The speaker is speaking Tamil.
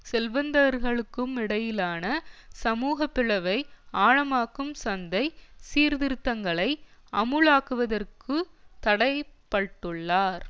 செல்வந்தர்களுக்குமிடையிலான சமூக பிளவை ஆழமாக்கும் சந்தை சீர்திருத்தங்களை அமுலாக்குவதற்கு தடை பட்டுள்ளார்